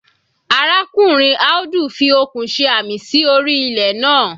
Arákùnrin Audu fi okùn ṣe àmì sí orí ilẹ̀ naa.